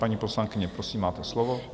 Paní poslankyně, prosím, máte slovo.